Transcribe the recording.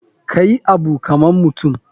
Kayi Abu kaman mutum.